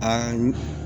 A yi